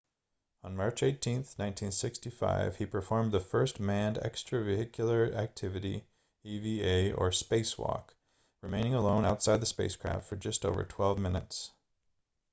on march 18 1965 he performed the first manned extravehicular activity eva or spacewalk remaining alone outside the spacecraft for just over twelve minutes